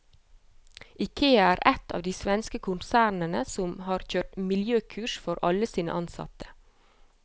Ikea er ett av de svenske konsernene som har kjørt miljøkurs for alle sine ansatte.